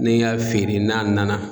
Ni n y'a feere n'a nana